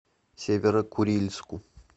северо курильску